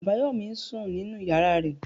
Abayomi ń sùn nínú ìyára rẹ̀.